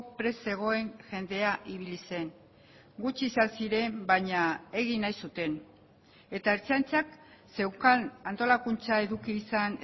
prest zegoen jendea ibili zen gutxi izan ziren baina egin nahi zuten eta ertzaintzak zeukan antolakuntza eduki izan